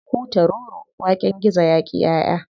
Hutaroro waken gizo yaƙi ƴaʼƴa.